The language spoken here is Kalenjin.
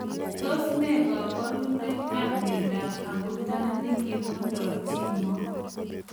Tos nee kabarunoik ap miondop abutanik yemondoo chii moo ak